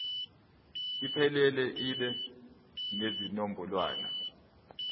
iphelele ibe nezinombolwana